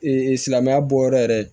silamɛya bɔyɔrɔ yɛrɛ